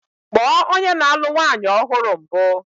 Kpọọ onye na-alụ nwanyị ọhụrụ mbụ!